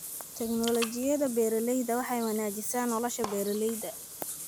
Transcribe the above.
Tignoolajiyada beeralayda waxay wanaajisaa nolosha beeralayda.